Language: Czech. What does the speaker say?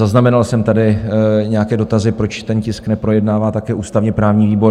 Zaznamenal jsem tady nějaké dotazy, proč ten tisk neprojednává také ústavně-právní výbor.